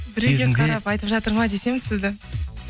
айтып жатыр ма десем сізді